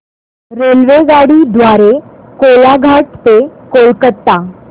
रेल्वेगाडी द्वारे कोलाघाट ते कोलकता